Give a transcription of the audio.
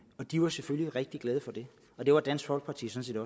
og de var selvfølgelig rigtig glade for det og det var dansk folkeparti sådan